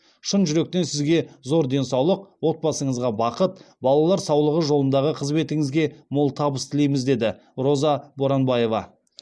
шын жүректен сізге зор денсаулық отбасыңызға бақыт балалар саулығы жолындағы қызметіңізге мол табыс тілейміз деді роза боранбаева